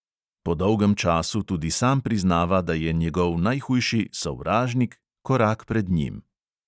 Po dolgem času tudi sam priznava, da je njegov najhujši "sovražnik" korak pred njim.